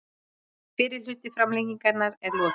Fyrri hluta framlengingar er lokið